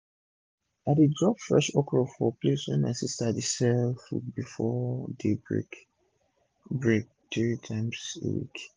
i dey drop fresh okro for the place wey my sista dey sell food before day break break three times in a week